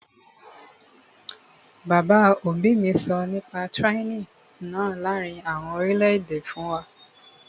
Bàbá òbí mi sọ nípa tyranny náà láàrin àwọn orílẹ̀-èdè fún wa